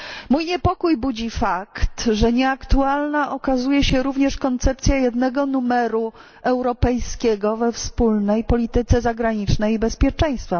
Mój niepokój budzi fakt, że nieaktualna okazuje się również koncepcja jednego numeru europejskiego we wspólnej polityce zagranicznej i bezpieczeństwa.